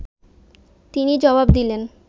তিনি জবাব দিলেন